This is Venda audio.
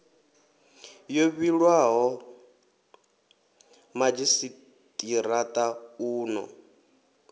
yo vhilwaho madzhisitirata u ḓo